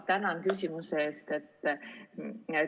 Tänan küsimuse eest!